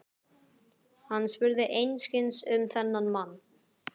Hann spurði einskis um þennan mann.